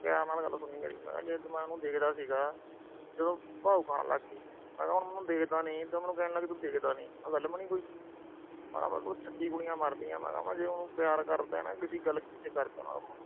ਪਿਆਰ ਨਾਲ ਗੱਲ ਸੁਣੀ ਮੇਰੀ। ਜਦੋਂ ਮੈਂ ਉਹਨੂੰ ਦੇਖਦਾ ਸੀਗਾ, ਜਦੋਂ ਭਾਓ ਖਾਣ ਲੱਗ ਗੀ। ਮੈਂ ਕਿਹਾ ਹੁਣ ਮੈਂ ਉਹਨੂੰ ਦੇਖਦਾ ਨੀ, ਮੈਨੂੰ ਕਹਿਣ ਲੱਗ ਗਈ ਦੇਖਦਾ ਨੀ। ਆਹ ਗੱਲ ਬਣੀ ਕੋਈ। ਮੈਂ ਕਿਹਾ ਮੇਰੇ ਕੋਲ ਛੱਤੀ ਕੁੜੀਆਂ ਮਰਦੀਆਂ, ਜੇ ਮੈਂ ਉਹਨੂੰ ਪਿਆਰ ਕਰਦਾ, ਕਹਿੰਦਾ ਕਿਸੇ ਗੱਲ ਪਿੱਛੇ ਕਰਦਾ ਉਹਨੂੰ।